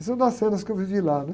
Essa é uma das cenas que eu vivi lá.